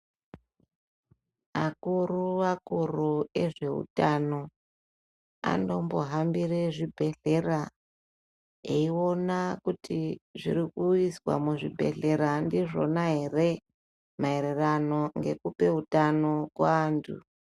Akuru akuru ezveutano anombohambire zvibhedhlera eiona kuti zviri kuiswa muzvibhedhlera ndizvona here maererano ngekupe utano kuantu .